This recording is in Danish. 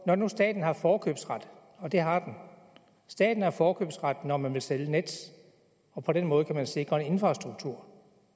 når nu staten har forkøbsret og det har den staten har forkøbsret når man vil sælge nets og på den måde kan man sikre en infrastruktur